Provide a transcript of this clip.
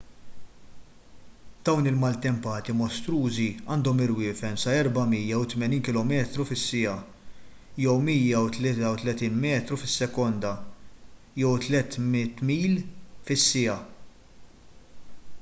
dawn il-maltempati mostrużi għandhom irwiefen sa 480 km/siegħa 133 m/s; 300 mph